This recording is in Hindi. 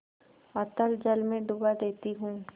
अतल जल में डुबा देती हूँ